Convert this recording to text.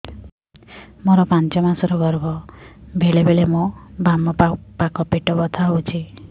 ମୋର ପାଞ୍ଚ ମାସ ର ଗର୍ଭ ବେଳେ ବେଳେ ମୋ ବାମ ପାଖ ପେଟ ବଥା ହଉଛି